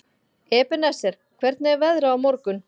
Ebeneser, hvernig er veðrið á morgun?